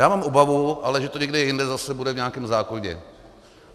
Já mám ale obavu, že to někde jinde zase bude v nějakém zákoně.